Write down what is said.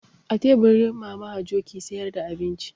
A teburi Mama Hajo ke sayar da abinci.